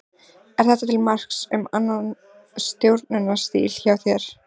Er þetta til marks um annan stjórnunarstíl hjá þér?